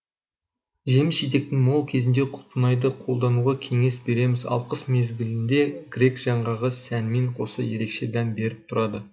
жеміс жидектің мол кезінде құлпынайды қолдануға кеңес береміз ал қыс мезгілінде грек жаңғағы сәнмен қоса ереше дәм беріп тұрады